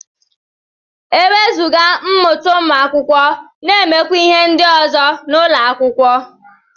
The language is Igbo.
Ewezuga mmụta ụmụ akwụkwọ na-emekwa ihe ndị ọzọ n'ụlọ akwụkwọ